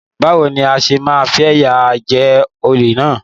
Báwo ni a ṣe máa fìyà jẹ olè náà?